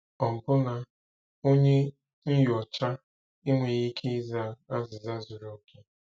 Ọbụna onye nyocha enweghị ike ịza azịza zuru oke!